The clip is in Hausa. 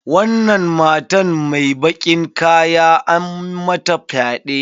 Wannan matar mai bakin kaya an mata fyaɗe.